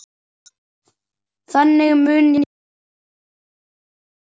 Þannig mun ég muna hana.